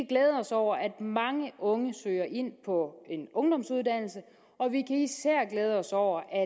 glæde os over at mange unge søger ind på en ungdomsuddannelse og vi kan især glæde os over at